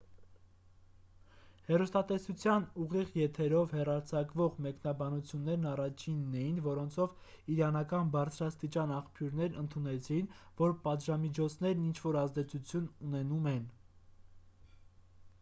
հեռուստատեսության ուղիղ եթերով հեռարձակվող մեկնաբանություններն առաջինն էին որոնցով իրանական բարձրաստիճան աղբյուրներն ընդունեցին որ պատժամիջոցներն ինչ-որ ազդեցություն ունենում են